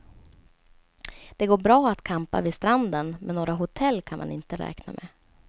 Det går bra att campa vid stranden, men några hotell kan man inte räkna med.